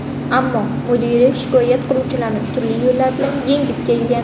Ammo mudira shikoyat qiluvchilarni turli yo‘llar bilan yengib kelgan.